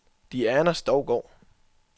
Diana Stougaard